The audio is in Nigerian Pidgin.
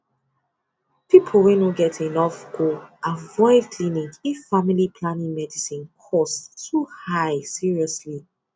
people wey no get enough go avoid clinic if family planning medicine cost too high seriously